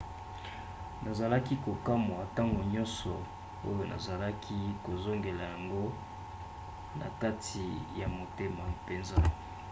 nazalaki kokamwa ntango nyonso oyo nazalaki kozongela yango na kati ya motema mpenza